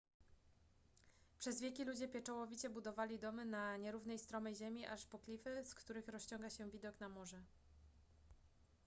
przez wieki ludzie pieczołowicie budowali domy na nierównej stromej ziemi aż po klify z których rozciąga się widok na morze